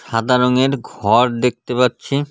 সাদা রঙের ঘর দেখতে পাচ্ছি.